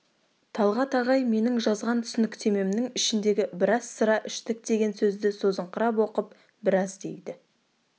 талғат ағай менің жазған түсініктемемнің ішіндегі біраз сыра іштік деген сөзді созыңқырап оқып біраз дейді